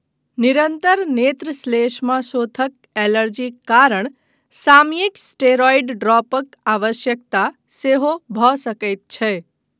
निरन्तर नेत्रश्लेष्माशोथक एलर्जीक कारण सामयिक स्टेरॉयड ड्रॉपक आवश्यकता सेहो भऽ सकैत छै।